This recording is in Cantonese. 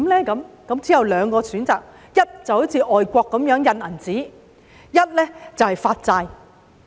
之後只有兩個選擇：第一，就是像外國般印銀紙，第二便是發債。